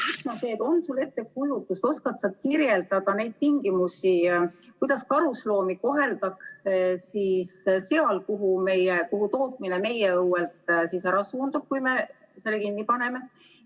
Üks on see: on sul ettekujutust, oskad sa kirjeldada neid tingimusi, kuidas karusloomi koheldakse seal, kuhu tootmine meie õuelt ära suundub, kui me selle kinni paneme?